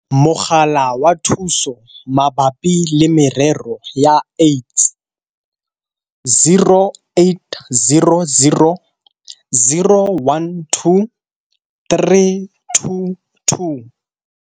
Mogala wa Thuso Mabapi le Merero ya AIDS - 0800 012 322.